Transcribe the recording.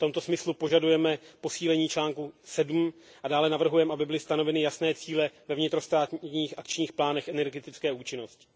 V tomto smyslu požadujeme posílení článku 7 a dále navrhujeme, aby byly stanoveny jasné cíle ve vnitrostátních akčních plánech energetické účinnosti.